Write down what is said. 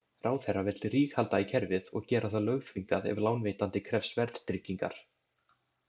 Ráðherra vill ríghalda í kerfið og gera það lögþvingað ef lánveitandi krefst verðtryggingar.